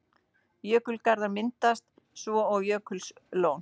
Jökulgarður myndast svo og jökullón.